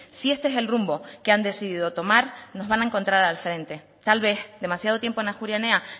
si este es el rumbo que han decidido tomar nos van a encontrar al frente tal vez demasiado tiempo en ajuria enea